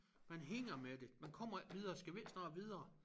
Man hænger med det man kommer ikke videre skal vi ikke snart videre